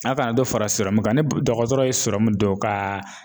A kana dɔ fara kan ni dɔgɔtɔrɔ ye dɔ ka